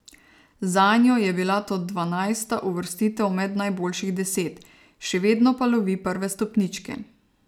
Zanjo je bila to dvanajsta uvrstitev med najboljših deset, še vedno pa lovi prve stopničke.